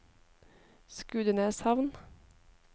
Skudeneshavn